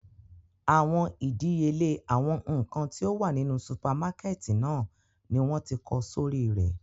Awọn idiyele awọn nkan ti o wa ninu supamakẹti náa ni wọn ti kọ sori rẹ